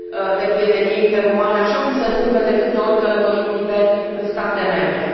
de prietenie interumane, așa cum se întâmplă ori de câte ori călătorim liber în state membre.